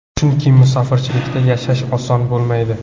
Chunki musofirchilikda yashash oson bo‘lmaydi.